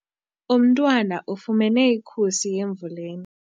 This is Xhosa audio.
Umntwana ufumene ikhusi emvuleni.